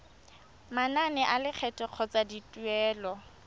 manane a lekgetho kgotsa dituelo